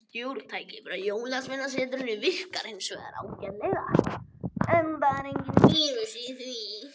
Stjórntækið frá jólsveinasetrinu virkaði hins vegar ágætlega, enda enginn vírus í því.